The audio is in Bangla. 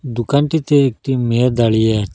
দুকানটিতে একটি মেয়ে দাঁড়িয়ে আচে--